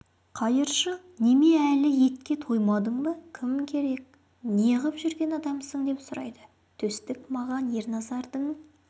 қайыршы неме әлі етке тоймадың ба кім керек неғып жүрген адамсың деп сұрайды төстік маған ерназардың